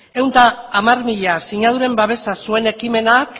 ehun eta hamar mila sinaduren babesa zuen ekimenak